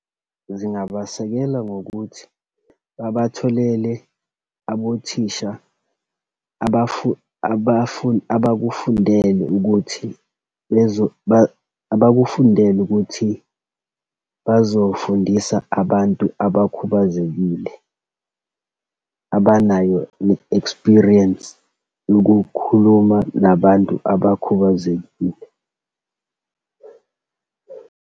Zingabasekela ngokuthi, babatholele abothisha, abakufundele ukuthi abakufundele ukuthi bazofundisa abantu abakhubazekile, abanayo i-experience yokukhuluma nabantu abakhubazekile.